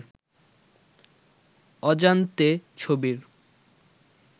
অজান্তে ছবির